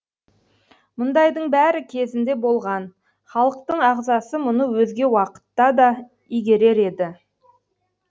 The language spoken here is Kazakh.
мұндайдың бәрі кезінде болған халықтың ағзасы мұны өзге уақытта да игерер еді